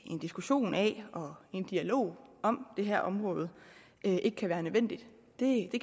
en diskussion af og en dialog om det her område ikke kan være nødvendigt det